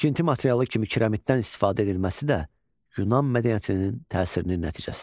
Tikinti materialı kimi kiramidən istifadə edilməsi də Yunan mədəniyyətinin təsirinin nəticəsidir.